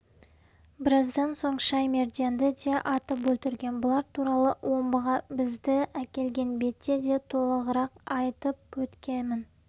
біраздан соң шаймерденді де атып өлтірген бұлар туралы омбыға бізді әкелген бетте де толығырақ айтып өткемін